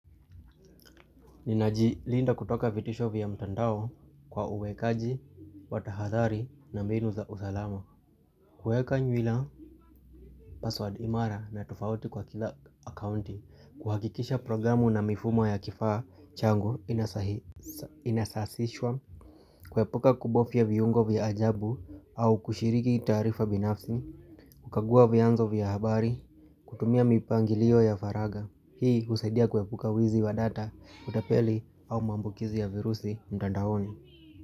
Ninajilinda kutoka vitisho vya mtandao kwa uwekaji wa tahadhari na mbinu za usalama. Kweka nywila password imara na tofauti kwa kila akaunti. Kuhakikisha programu na mifumo ya kifaa changu inasasishwa. Kuepuka kubofya viungo vya ajabu au kushiriki taarifa binafsi. Kukagua vyanzo vya habari. Kutumia mipangilio ya faraga. Hii usaidia kuepuka wizi wa data, utapeli au mwambukizi ya virusi mtandaoni.